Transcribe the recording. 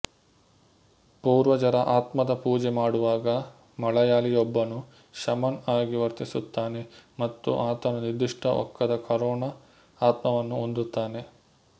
ಪೂರ್ವಜರ ಆತ್ಮದ ಪೂಜೆ ಮಾಡುವಾಗ ಮಲಯಾಳಿಯೊಬ್ಬನು ಶಮನ್ ಆಗಿ ವರ್ತಿಸುತ್ತಾನೆ ಮತ್ತು ಆತನು ನಿರ್ದಿಷ್ಟ ಒಕ್ಕದ ಕರೋಣ ಆತ್ಮವನ್ನು ಹೊಂದುತ್ತಾನೆ